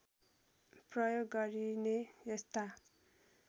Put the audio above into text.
प्रयोग गरिने यस्ता